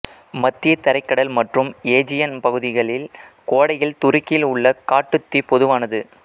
மத்திய தரைக்கடல் மற்றும் ஏஜியன் பகுதிகளில் கோடையில் துருக்கியில் உள்ள காட்டுத் தீ பொதுவானது